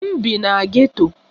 M bi na geto.